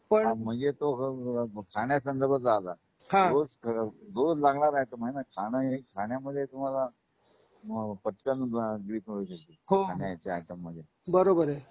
पण म्हणजे तो खाण्या संदर्भात आला. हां रोज रोज लागणारा आयटम आहे. खाण एक खाण्या मध्ये तुम्हाला पटकन क्लिक होऊ शकते हो खाण्याच्या आयटम मध्ये बरोबर आहे